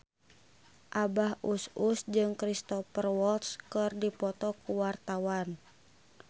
Abah Us Us jeung Cristhoper Waltz keur dipoto ku wartawan